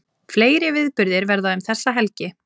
Fleiri viðburðir verða um þessa helgi